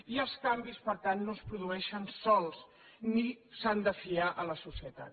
i els canvis per tant no es produeixen sols ni s’han de fiar a la societat